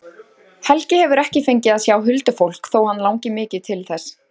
Helgi hefur ekki fengið að sjá huldufólk þó að hann langi mikið til þess.